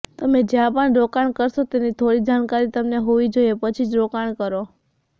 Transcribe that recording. તમે જ્યાં પણ રોકાણ કરશો તેની થોડી જાણકારી તમને હોવી જોઈએ પછી જ રોકાણ કરો